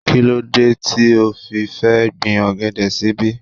Kíló dé tí o fi fẹ́ gbin ọ̀gẹ̀dẹ̀ síbí?